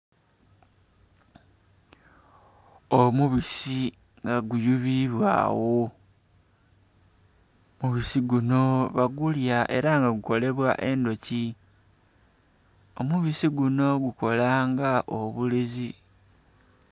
Omubisi nga guyuyibwa agho omubisi gunho bagulya era nga gukolebwa endhuki omubisi gunho gukola nga obulezi.